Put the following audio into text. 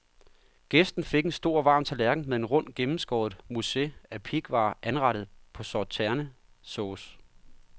Gæsten fik en stor, varm tallerken med en rund, gennemskåret mousse af pighvar anrettet på sauternessauce.